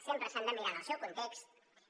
sempre s’han de mirar en el seu context